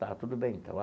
Tá, tudo bem, então.